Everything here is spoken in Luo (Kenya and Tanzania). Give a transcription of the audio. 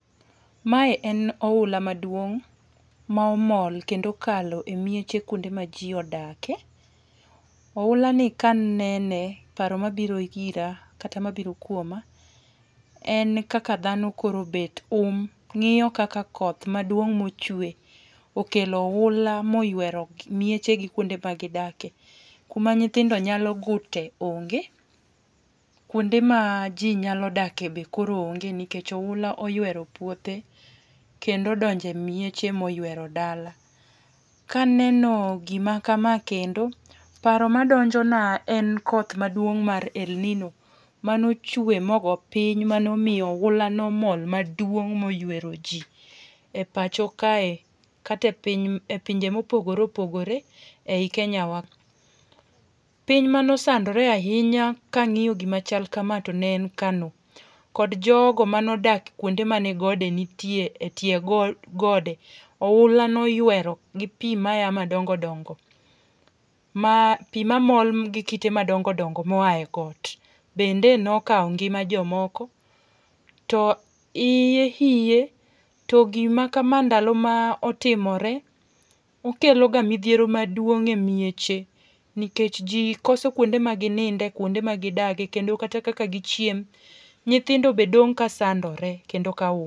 Ma en oula maduong' momol kendo okalo e mieche kuonde ma ji odakie. oula ni ka anene ,paro ma biro ira kata ma biro kuoma en kaka dhano koro obet um ng'iyo kaka koth maduong' ma ochwe okelo oula moywero mieche gi ma gi dakie, ku ma nyithindo nyalo gute onge, kuonde ma ji nyalo dakie be koro onge nikech oula oywero puothe kendo odonje mieche moywero dala. Ka aneno gi ma ka kendo, paro ma donjo na en koth maduong' mar elnino, ma ne ochwe ma ogo piny ma ne omiyo oula ne omol maduong moywero ji e pacho kae kata e piny e pinje ma opogore opogore e Kenya wa, piny mane osandre ahinya ka ang'iyo gi ma kama to ne en kano, kod jogo ma ne odak kuonde ma ne gode nitie e tie gode, oula ne oywero gi pi ma ya madongo dongo ma pi ma mol gi kite ma dongo dongo mo oa e got bende ne okawo ngima jo moko to iye oye to gi ma kama ndalo ma otimore, okelo ga midhiero maduong e mieche nikech ji koso kuonde ma gi ninde, kuonde ma gi dage, kendo kaka gi chiemo nyithindo be dong ka sandore kendo ka.